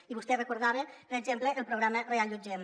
i vostè recordava per exemple el programa reallotgem